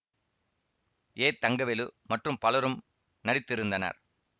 ஏ தங்கவேலு மற்றும் பலரும் நடித்திருந்தனர்